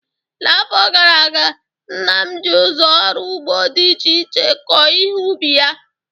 N'afọ gara aga, nna m ji ụzọ ọrụ ugbo dị iche iche kọọ ihe ubi ya